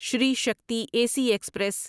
شری Shakti AC سی express